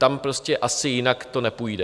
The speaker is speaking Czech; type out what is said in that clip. Tam prostě asi jinak to nepůjde.